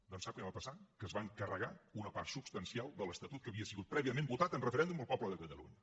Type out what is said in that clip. doncs sap què va passar que es van carregar una part substancial de l’estatut que havia sigut prèviament votat en referèndum pel poble de catalunya